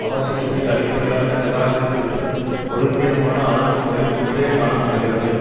அவசியத்தை அடிப்படையாக நிராகரித்துவிடும் ஒழுங்கீனமான அணுகுமுறை ஒன்றே காண படுகிறது